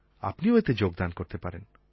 আপনিও এতে যোগদান করতে পারেন